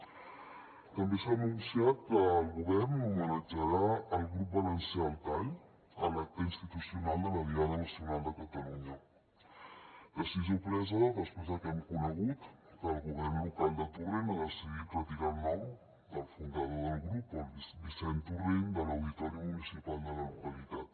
també s’ha anunciat que el govern homenatjarà el grup valencià al tall a l’acte institucional de la diada nacional de catalunya decisió presa després del que hem conegut que el govern local de torrent ha decidit retirar el nom del fundador del grup vicent torrent de l’auditori municipal de la localitat